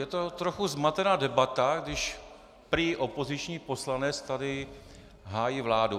Je to trochu zmatená debata, když prý opoziční poslanec tady hájí vládu.